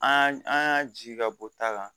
An an y'a ji ka bɔ ta la